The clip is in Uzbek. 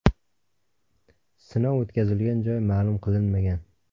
Sinov o‘tkazilgan joy ma’lum qilinmagan.